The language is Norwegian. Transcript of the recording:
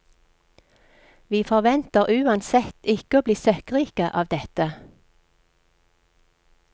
Vi forventer uansett ikke å bli søkkrike av dette.